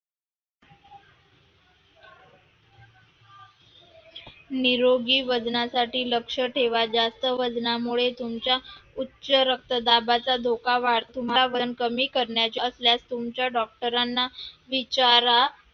निरोगी वजनासाठी लक्ष ठेवा जास्त वजनासाठी तुमच्या उच्च रक्तदाबाचा धोका वाढतो. तुम्हाला वजन कमी करायचे असल्यास तुमच्या doctor ना विचारा.